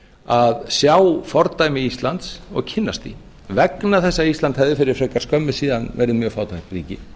að sjá fordæmi íslands og kynnast því vegna þess að ísland hefði fyrir frekar skömmu síðan verið mjög fátækt ríki